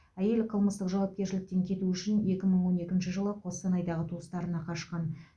әйел қылмыстық жауапкершіліктен кету үшін екі мың он екінші жылы қостанайдағы туыстарына қашқан